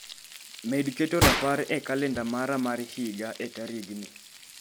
Med keto rapar e kalenda mara mar higa e tarigni